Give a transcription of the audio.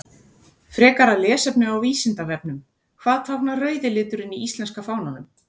Frekara lesefni á Vísindavefnum: Hvað táknar rauði liturinn í íslenska fánanum?